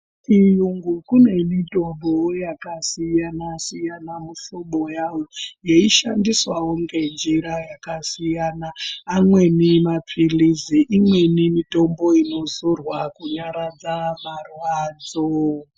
Kuchiyungu kunewo mitombo yakasiyana-siyana mihlobo yayo, yeishandiswawo ngenjira yakasiyana. Amweni maphirizi, imeni mitombo inozorwa kunyaradza marwadzo.